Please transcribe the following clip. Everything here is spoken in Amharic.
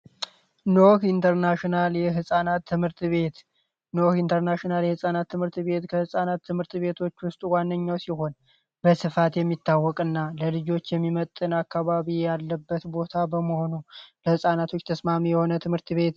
ኖኅ ኢንተርናሽናል የፃናት ትምህርት ቤት ነው የህፃናት ትምህርት ቤት ትምህርት ቤቶች ዋነኛ ሲሆን በስፋት የሚታወቅ እና ለልጆች የሚመጥን አካባቢ ያለበት ቦታ በመሆኑ ለፃናቶች ተስማሚ የሆነ ትምህርት ቤት